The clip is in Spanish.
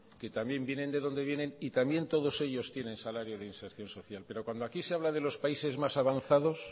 que también vienen de donde vienen y también todos ellos tienen salario de inserción social pero cuando aquí se habla de los países más avanzados